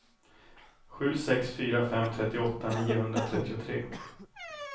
sju sex fyra fem trettioåtta niohundratrettiotre